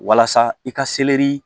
Walasa i ka seleri